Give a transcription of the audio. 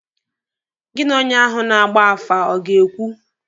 Gị na onye ahụ na-agba afa ọ ga-ekwu?